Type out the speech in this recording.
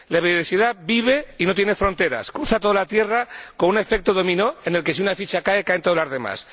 La biodiversidad vive y no tiene fronteras, cruza toda la tierra con un efecto dominó en el que, si una ficha cae, caen todas las demás.